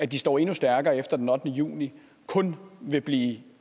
de står endnu stærkere efter den ottende juni kun vil blive